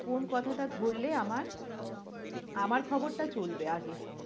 কোন কথাটা ধরলে আমার, আমার খবরটা চলবে আগে।